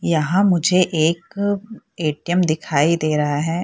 यहाँ मुझे एक ए.टी.एम. दिखाई दे रहा है।